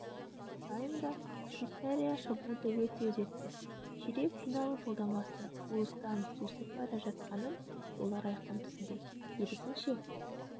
таймда швейцария шабуылды өте үдетті ширек финал жолдамасы уыстан сусып бара жатқанын олар айқын түсінді керісінше